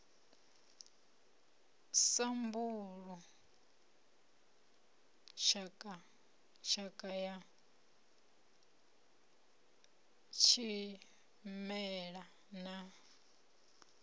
sambulu tshakha ya tshimela na